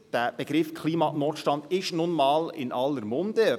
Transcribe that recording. Der Begriff «Klimanotstand» ist nun einmal in aller Munde.